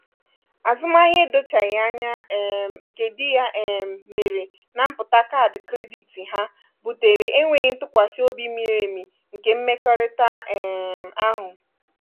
azụmahịa edochaghi anya um nke dị ya um mere na mpụta kaadị kredit ha butere enweghị ntụkwasị obi miri emi nke mmekọrịta um ahụ